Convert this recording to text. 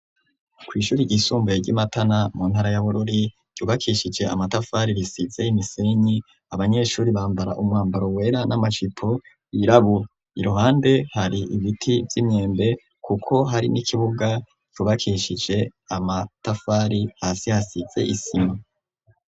Kw' ishuri ry'isumbuye ry'imatana ,mu ntara yabururi ,yubakeshije Amatafari , ,risize imisenyi, Abanyeshuri, bambara umwambaro wera, n'Amajipo yirabura, iruhande hari ibiti vy'Imyembe kuko hari n'ikibuga cubakeshije amatafari hasi hasize isima.